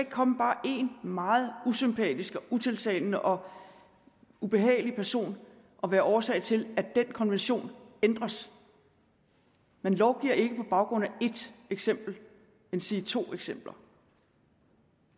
komme bare én meget usympatisk og utiltalende og ubehagelig person og være årsag til at den konvention ændres man lovgiver ikke på baggrund af ét eksempel endsige to eksempler